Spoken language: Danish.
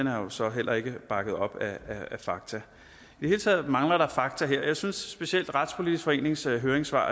er jo så heller ikke bakket op af fakta i det hele taget mangler der fakta her jeg synes at specielt retspolitisk forenings høringssvar